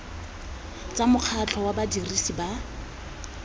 tsa mokgatlho wa badirisi ba